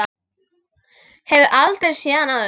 Hefur aldrei séð hann áður.